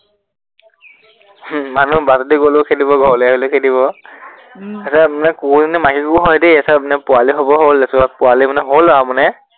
হম মানুহ বাটেদি গলেও খেদিব, ঘৰলে আহিলেও খেদিব। উম তাৰপিছত মানে কুৱৰীজানত মাহিৰ ঘৰ হয় দেই, তাৰপিছত পোৱালী হবৰ হল, পোৱালী মানে হল আৰু মানে